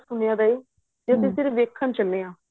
ਬਹੁਤ ਸੁਣਿਆ ਏ ਤੇ ਅਸੀਂ ਸਿਰਫ਼ ਵੇਖਣ ਚੱਲੇ ਆਂ